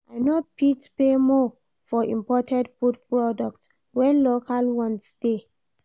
I no fit pay more for imported food products wen local ones dey.